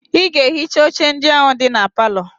Ị ga-ehicha oche ndị ahụ dị na palọ!